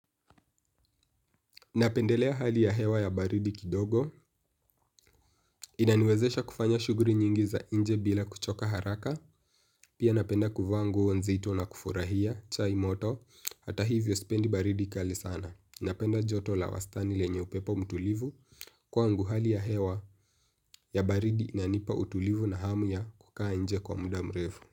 Napendelea hali ya hewa ya baridi kidogo. Inaniwezesha kufanya shughuli nyingi za nje bila kuchoka haraka. Pia napenda kuvaa nguo nzito na kufurahia chai moto. Hata hivyo, sipendi baridi kali sana. Napenda joto la wastani lenye upepo mtulivu kwangu hali ya hewa ya baridi inanipa utulivu na hamu ya kukaa nje kwa muda mrefu.